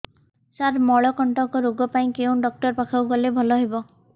ସାର ମଳକଣ୍ଟକ ରୋଗ ପାଇଁ କେଉଁ ଡକ୍ଟର ପାଖକୁ ଗଲେ ଭଲ ହେବ